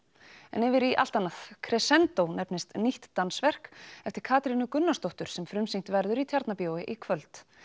en yfir í allt annað nefnist nýtt dansverk eftir Katrínu Gunnarsdóttur sem frumsýnt verður í Tjarnarbíói í kvöld